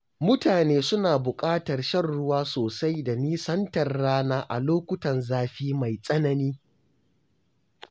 Mutane suna buƙatar shan ruwa sosai da nisantar rana a lokutan zafi mai tsanani.